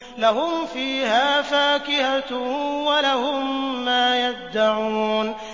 لَهُمْ فِيهَا فَاكِهَةٌ وَلَهُم مَّا يَدَّعُونَ